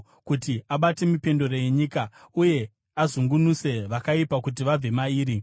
kuti abate mipendero yenyika, uye azungunuse vakaipa kuti vabve mairi?